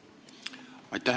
Aitäh!